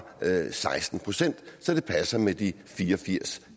seksten procent så det passer med de fire og firs